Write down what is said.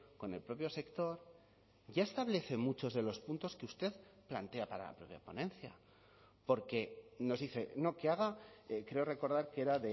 con el propio sector ya establece muchos de los puntos que usted plantea para la ponencia porque nos dice no que haga creo recordar que era